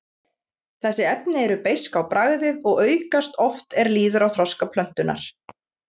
Þessi efni eru beisk á bragðið og aukast oft er líður á þroska plöntunnar.